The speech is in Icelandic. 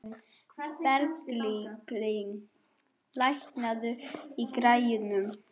Berglín, lækkaðu í græjunum.